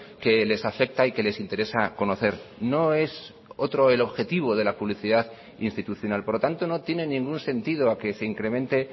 que les afecta y que les interesa conocer no es otro el objetivo de la publicidad institucional por lo tanto no tiene ningún sentido a que se incremente